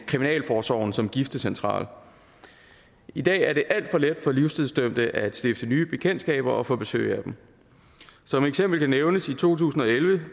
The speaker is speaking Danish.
kriminalforsorgen som giftecentral i dag er det alt for let for livstidsdømte at stifte nye bekendtskaber og få besøg af dem som eksempel kan nævnes i to tusind og elleve